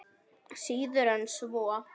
Síður en svo.